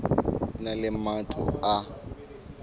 e na le matlo a